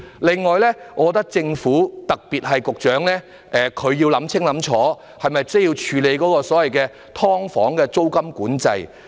此外，我覺得政府——特別是局長——要考慮清楚，是否需要處理所謂"劏房"的租金管制。